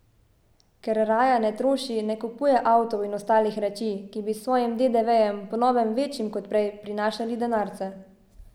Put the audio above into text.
Ker raja ne troši, ne kupuje avtov in ostalih reči, ki bi s svojim dedevejem, po novem večjim kot prej, prinašali denarce.